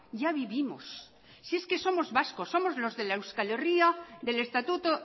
ya vivimos si es que somos vascos somos los de la euskal herria del estatuto